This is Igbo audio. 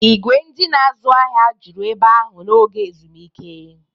Ìgwè ndị na-azụ ahịa juru ebe ahụ n'oge ezumike.